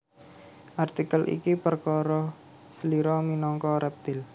Artikel iki perkara slira minangka rèptil